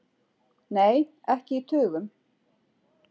Nei, ekki í tugum.